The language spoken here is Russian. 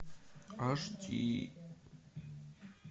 аш ди